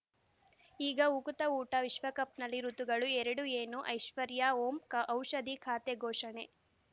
ಈಗ ಉಕುತ ಊಟ ವಿಶ್ವಕಪ್‌ನಲ್ಲಿ ಋತುಗಳು ಎರಡು ಏನು ಐಶ್ವರ್ಯಾ ಓಂ ಕ ಔಷಧಿ ಖಾತೆ ಘೋಷಣೆ